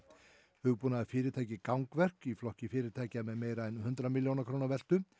hugbúnaðarfyrirtækið gangverk í flokki fyrirtækja með meira en hundrað milljóna króna veltu